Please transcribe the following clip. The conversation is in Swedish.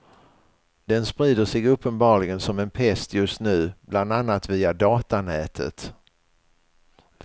Den sprider sig uppenbarligen som en pest just nu, bland annat via datanätet.